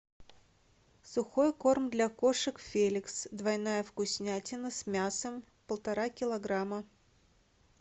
сухой корм для кошек феликс двойная вкуснятина с мясом полтора килограмма